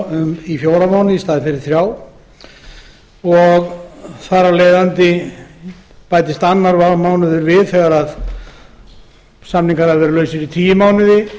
mánuði í staðinn fyrir þrjá þar af leiðandi bætist annar mánuður við þegar samningar hafa verið lausir í tíu mánuði